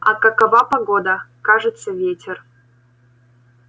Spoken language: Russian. а какова погода кажется ветер